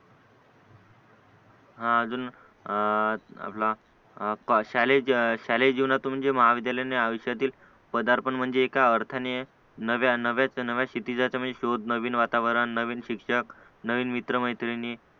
हा अजून आपला शालेय शालेय जीवनात म्हणजे महाविद्यालयाने आयुष्यातील पदार्पण म्हणजे एका अर्थाने नव्या नव्या सिटीचा शोध नवीन वातावरण नवीन शिक्षक नवीन मित्र-मैत्रिणी